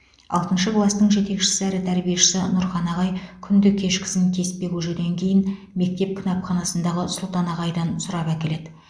алтыншы кластың жетекшісі әрі тәрбиешісі нұрхан ағай күнде кешкісін кеспе көжеден кейін мектеп кітапханасындағы сұлтан ағайдан сұрап әкеледі